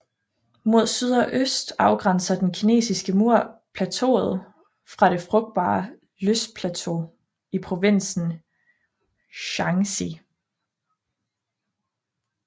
Mod syd og øst afgrænser den kinesiske mur plateauet fra det frugtbare løssplateau i provinsen Shaanxi